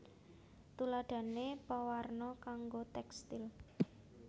Tuladhané pewarna kanggo tékstil